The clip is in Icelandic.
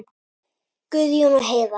Guðjón og Heiða.